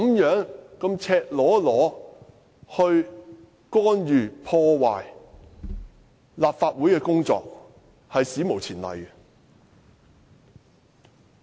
如此赤裸裸地干預和破壞立法會的工作，屬史無前例。